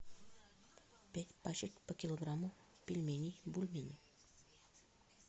пять пачек по килограмму пельменей бульмени